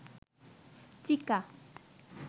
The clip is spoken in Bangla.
চিকা